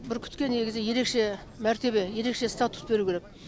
бүркітке негізі ерекше мәртебе ерекше статус беру керек